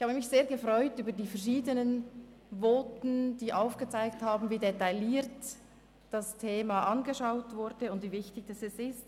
Ich habe mich sehr gefreut über die verschiedenen Voten, die aufgezeigt haben, wie detailliert das Thema wahrgenommen wird, und wie wichtig es ist.